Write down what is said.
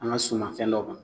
An ga suma fɛn dɔ kan